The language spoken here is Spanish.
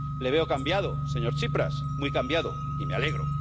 Le veo cambiado, señor Tsipras, muy cambiado, y me alegro.